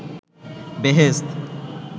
বেহেশত